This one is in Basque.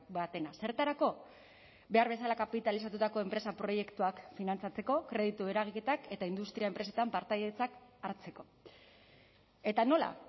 batena zertarako behar bezala kapitalizatutako enpresa proiektuak finantzatzeko kreditu eragiketak eta industria enpresetan partaidetzak hartzeko eta nola